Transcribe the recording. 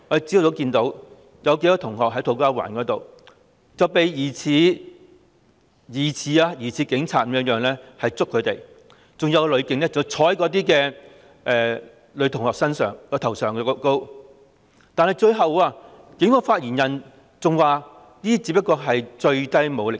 昨天早上，我們看到土瓜灣有數名學生遭疑似是警員的人士捉拿，更有女警坐在女學生的頭上，但最後警方發言人表示這只是最低武力。